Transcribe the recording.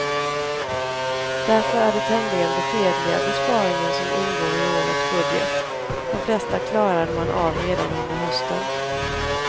Därför är det tämligen beskedliga besparingar som ingår i årets budget, de flesta klarade man av redan under hösten.